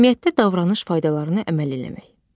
Cəmiyyətdə davranış faydalarını əməl eləmək.